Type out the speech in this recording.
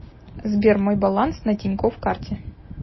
сбер мой баланс на тинькофф карте